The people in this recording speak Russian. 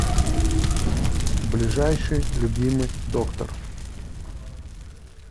ближайший любимый доктор